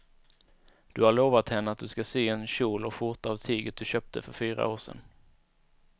Du har lovat henne att du ska sy en kjol och skjorta av tyget du köpte för fyra år sedan.